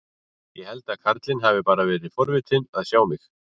Ég held að karlinn hafi bara verið forvitinn að sjá mig.